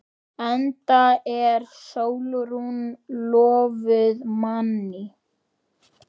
Enda er Sólrún lofuð manni.